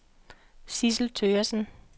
Sidsel Thøgersen